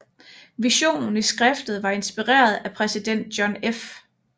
Visionen i skriftet var inspireret af præsident John F